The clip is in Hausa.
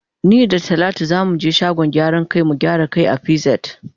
Ni da talatu za mu ge shagon gyaran kai mu gyara kan mu a pz.